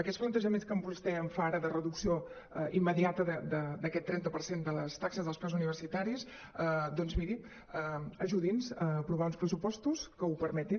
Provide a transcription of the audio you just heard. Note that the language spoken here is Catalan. aquests plantejaments que vostè em fa ara de reducció immediata d’aquest trenta per cent de les taxes dels preus universitaris doncs miri ajudi’ns a aprovar uns pressupostos que ho permetin